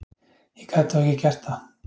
Ég gat þó ekki gert það.